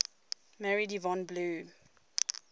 married yvonne blue